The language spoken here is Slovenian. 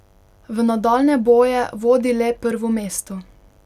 V nadaljnje boje vodi le prvo mesto.